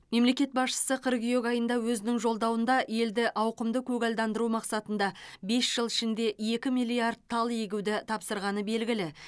мемлекет басшысы қыркүйек айында өзінің жолдауында елді ауқымды көгалдандыру мақсатында бес жыл ішінде екі миллиард тал егуді тапсырғаны белгілі